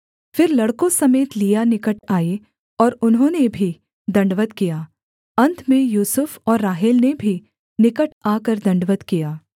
फिर लड़कों समेत लिआ निकट आई और उन्होंने भी दण्डवत् किया अन्त में यूसुफ और राहेल ने भी निकट आकर दण्डवत् किया